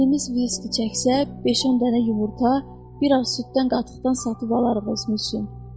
Meylimiz viski çəksə, beş-on dənə yumurta, biraz süddən qatıqdan satıb alarıq özümüz üçün.